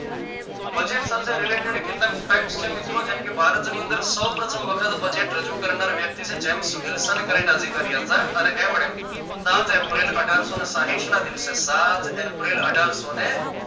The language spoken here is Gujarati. budget સાથે related કેટલાક facts છે મિત્રો જેમ કે ભારત ની અંદર સૌ પ્રથમ વખત budget રજુ કરનાર વ્યક્તિ છે જેમ્સ વિલસન કરીને અધિકારી હતા અને એમને સાત એપ્રિલ અઢારસો ને સાહીઠ ના દિવસે સાત એપ્રિલ અઢારસો ને